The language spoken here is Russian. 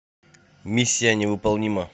миссия невыполнима